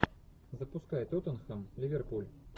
запускай тоттенхэм ливерпуль